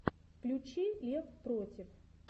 включи лев против